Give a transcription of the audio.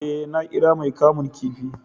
eh, na kira mai kamun kifi